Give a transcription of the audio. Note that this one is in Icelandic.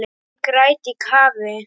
Ég græt í kafi.